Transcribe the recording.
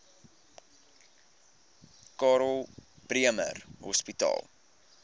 karl bremer hospitaal